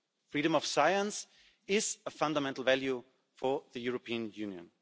Freedom of science is a fundamental value for the European Union.